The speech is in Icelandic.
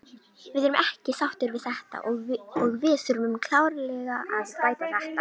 Við erum ekki sáttir við þetta og við þurfum klárlega að bæta þetta.